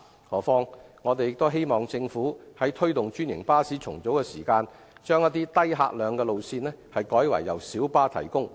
何況，我們亦希望政府在推動專營巴士重組時，把一些低客量的路線改為由小巴提供。